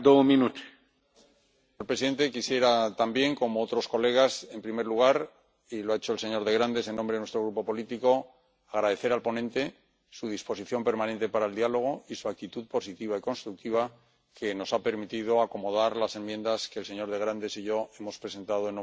Señor presidente, quisiera también, como otros colegas, en primer lugar —y lo ha hecho el señor de Grandes en nombre de nuestro grupo político—, agradecer al ponente su disposición permanente para el diálogo y su actitud positiva y constructiva, que nos ha permitido acomodar las enmiendas que el señor de Grandes y yo hemos presentado en nombre de nuestro grupo político.